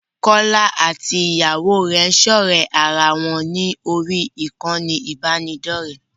Kọ́lá àti Ìyàwó rẹ̀ ń ṣọ̀ré ara wọn ní orí ìkànnì ìbánidọ́rẹ̀ẹ́.